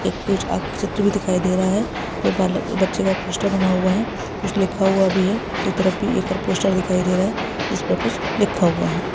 एक चित्र भी दिखाई दे रहा है। और और बच्चे का पोस्टर बना हुआ है। कुछ लिखा हुआ भी है। दूसरी तरफ भी एक पोस्टर दिखाई दे रहा है जिस में कुछ लिखा हुआ है।